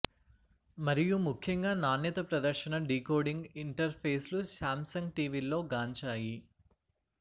మరియు ముఖ్యంగా నాణ్యత ప్రదర్శన డీకోడింగ్ ఇంటర్ఫేస్లు శామ్సంగ్ టీవీల్లో గాంచాయి